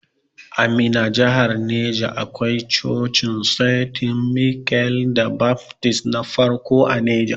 A Minna jahar neja akwai Cocin Senti Michael da Baftist na farko a neja.